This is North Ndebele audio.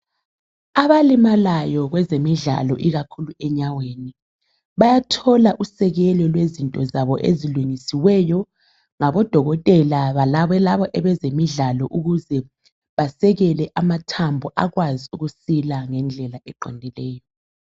Abalimalayo kwezemidllalo ikakhulu enyaweni bayathola usekelo lezinto zabo ezilungisiweyo ngabodokotela bona labo abezemidlalo ukuze basekele amthambo akwazi ukusila ngendlela eqondileyo.